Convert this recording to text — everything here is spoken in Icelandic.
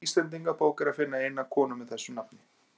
Í Íslendingabók er að finna eina konu með þessu nafni.